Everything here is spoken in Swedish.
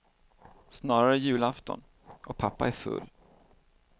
Snarare julafton och pappa är full.